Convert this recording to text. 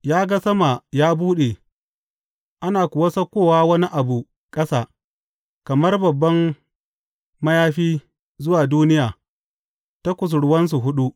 Ya ga sama ya buɗe ana kuwa saukowa wani abu ƙasa kamar babban mayafi zuwa duniya ta kusurwansa huɗu.